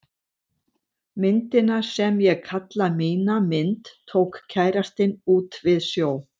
Myndina sem ég kalla mína mynd tók kærastinn út við sjó.